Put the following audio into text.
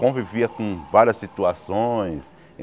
Convivia com várias situações.